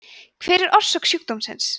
hver er orsök sjúkdómsins